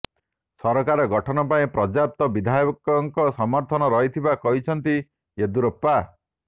ସରକାର ଗଠନ ପାଇଁ ପର୍ଯ୍ୟାପ୍ତ ବିଧାୟକଙ୍କ ସମର୍ଥନ ରହିଥିବା କହିଛନ୍ତି ୟେଦୁରପ୍ପା